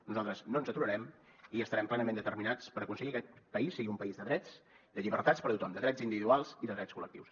nosaltres no ens aturarem i estarem plenament determinats per aconseguir que aquest país sigui un país de drets i de llibertats per a tothom de drets individuals i de drets col·lectius